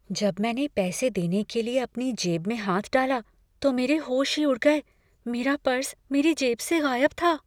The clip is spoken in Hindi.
जब मैंने पैसे देने के लिए अपनी जेब में हाथ डाला, तो मेरे होश ही उड़ गए। मेरा पर्स मेरी जेब से गायब था!